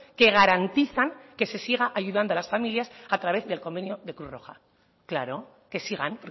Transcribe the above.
que garantizan que se sigan ayudando a las familias a través del convenio de cruz roja claro que sigan